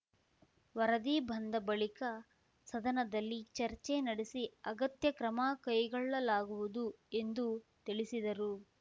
ವರದಿ ಬಂದ ಬಳಿಕ ಸದನದಲ್ಲಿ ಚರ್ಚೆ ನಡೆಸಿ ಅಗತ್ಯ ಕ್ರಮ ಕೈಗೊಳ್ಳಲಾಗುವುದು ಎಂದು ತಿಳಿಸಿದರು